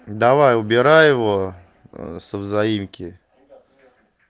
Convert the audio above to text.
давай убирай его со взаимки